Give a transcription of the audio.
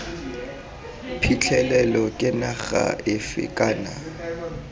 phitlhelelo ke naga efe kana